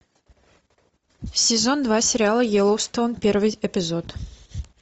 сезон два сериала йеллоустон первый эпизод